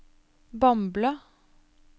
Bamble